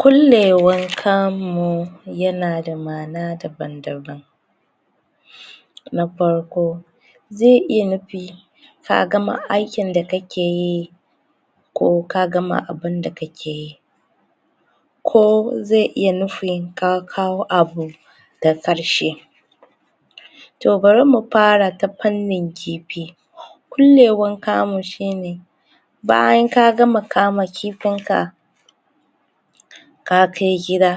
kullewar kamu yanada ma'ana daban-daban na farko zai iya nufi ka gama aikin da kakeyi ko ka gama abunda kakeyi ko zai iya nufon ka kawo abu da ƙarshe toh bari mu fara ta fannin kifi kullewan kamu shine bayan ka gama kamakifin ka ka kai gida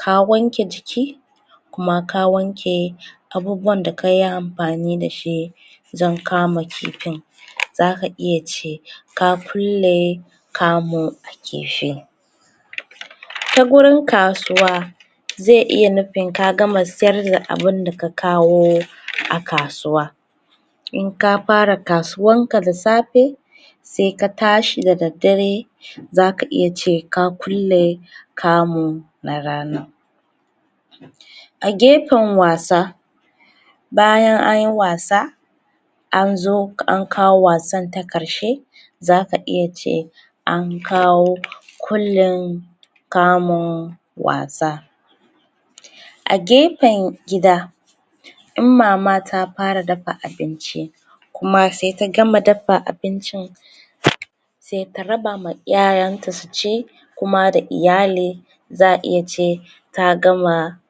ka wanke jiki kuma ka wanke abubuwan da kayi amfani dashi wajen kama kifin. zaka iya ce ka kulle kamu a kifi. ta gurin kasuwa zai iya nufin ka gama siyar da abunda ka kawo a kasuwa. in ka fara kasuwan ka da safe, sai ka tashi da daddare zaka iya ce ka kulle kamu na ranan. a gefen wasa bayan anyi wasa anzo an kawo wasan ta ƙarshe zaka iya ce an kawo kullin kamun wasa. a gefen gida in mama ta fara dafa abinci kuma sai ta gama dafa abincin sai ta rabama yaranta su ci, kuma da iyali za'a iya ce ta gama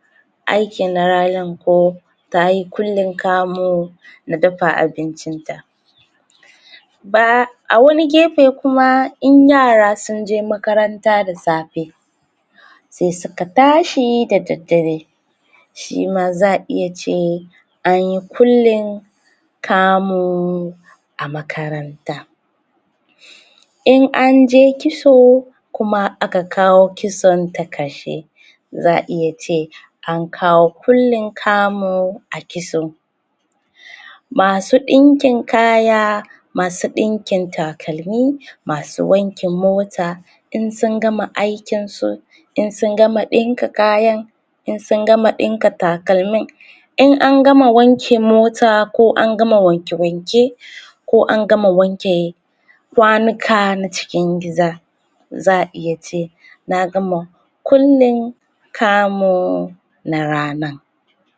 aiki na ranan ko tayi kullin kamu na dafa abincin ta. ba awani gefe kuma in yara sunje makaranta da safe sai suka tashi da daddare shima za'a iya ce anyi kullin kamu a makaranta. in anje kitso kuma aka kawo kitson ta ƙarshe za'a iya ce an kawo kullin kamu a kitson masu ɗinkin kaya masu ɗinkin takalmi masu wankin mota in sun gama aikin su in sun gama ɗinka kayan in sun gama ɗinka takalmin in an gama wanke mota ko an gama wanke-wanke ko an gama wanke kwanuka na cikin gida za'a iya ce na gama kullin kamun na ranan.